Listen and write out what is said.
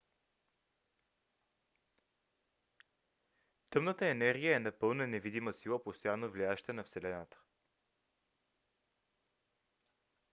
тъмната енергия е напълно невидима сила постоянно влияеща на вселената